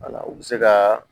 Wala u bɛ se ka